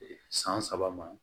San saba ma